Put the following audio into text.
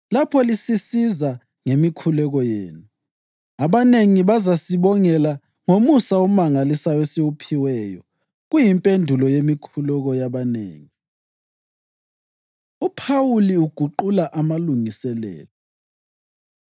lapho lisisiza ngemikhuleko yenu. Abanengi bazasibongela ngomusa omangalisayo esiwuphiweyo kuyimpendulo yemikhuleko yabanengi. UPhawuli Uguqula Amalungiselelo